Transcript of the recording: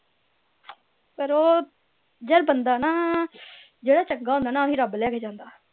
ਫੇਰ ਉਹ ਯਾਰ ਬੰਦਾ ਨਾ ਜਿਹੜਾ ਚੰਗਾ ਹੁੰਦਾ ਨਾ ਓਹੀ ਰੱਬ ਲੈ ਕੇ ਜਾਂਦੇ